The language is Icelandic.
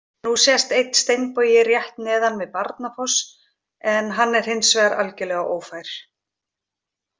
Nú sést einn steinbogi rétt neðan við Barnafoss en hann er hins vegar algjörlega ófær.